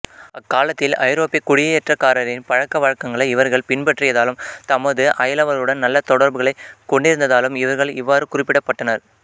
அக்காலத்தில் ஐரோப்பியக் குடியேற்றக்காரரின் பழக்க வழக்கங்களை இவர்கள் பின்பற்றியதாலும் தமது அயலவருடன் நல்ல தொடர்புகளைக் கொண்டிருந்ததாலும் இவர்கள் இவ்வாறு குறிப்பிடப்பட்டனர்